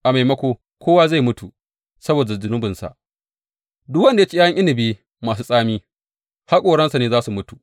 A maimako, kowa zai mutu saboda zunubinsa; duk wanda ya ci ’ya’yan inabi masu tsami, haƙoransa ne za su mutu.